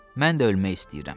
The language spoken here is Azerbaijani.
Mən də ölmək istəyirəm.